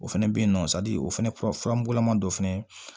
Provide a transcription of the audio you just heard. O fɛnɛ bɛ yen nɔ o fana kura mugulaman dɔ fɛnɛ